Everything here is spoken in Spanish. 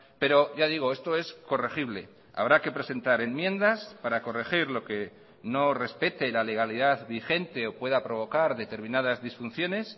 pero ya digo esto es corregible habrá que presentar enmiendas para corregir lo que no respete la legalidad vigente o pueda provocar determinadas disfunciones